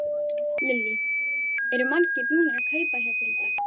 Lillý: Eru margir búnir að kaupa hjá þér í dag?